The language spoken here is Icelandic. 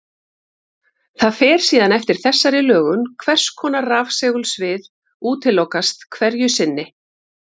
Það fer síðan eftir þessari lögun hvers konar rafsegulsvið útilokast hverju sinni.